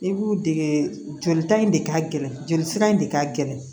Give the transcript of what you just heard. I b'u dege jolita in de ka gɛlɛn joli sira in de ka gɛlɛn